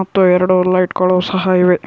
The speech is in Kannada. ಮತ್ತು ಎರಡು ಲೈಟ್ಗಳು ಸಹ ಇವೆ.